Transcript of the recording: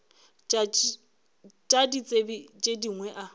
tša ditsebi tše dingwe a